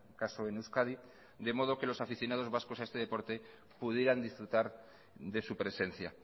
caso en euskadi de modo que los aficionados vascos a este deporte pudieran disfrutar de su presencia